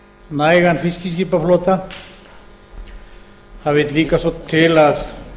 nægan fiskiskipaflota það vill líka svo til að